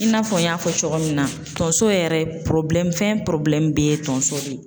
I n'a fɔ n y'a fɔ cogo min na, tonso yɛrɛ fɛn bɛ ye tonso de ye.